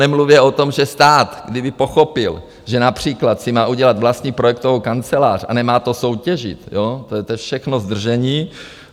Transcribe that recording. Nemluvě o tom, že stát, kdyby pochopil, že například si má udělat vlastní projektovou kancelář, a nemá to soutěžit - to je všechno zdržení...